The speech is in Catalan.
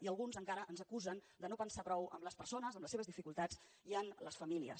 i alguns encara ens acusen de no pensar prou en les persones en les seves dificultats i en les famílies